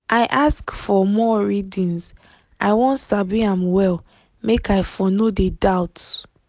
i ask for more readings i wan sabi am well make i for no de doubt